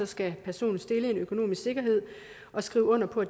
skal personen stille en økonomisk sikkerhed og skrive under på